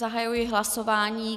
Zahajuji hlasování.